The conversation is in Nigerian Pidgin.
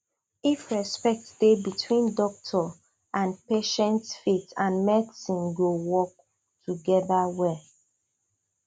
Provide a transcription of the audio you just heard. if respect dey between doctor and patient faith and medicine go work together well